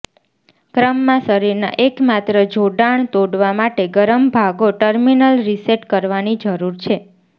ક્રમમાં શરીરના એકમાત્ર જોડાણ તોડવા માટે ગરમ ભાગો ટર્મિનલ રીસેટ કરવાની જરૂર છે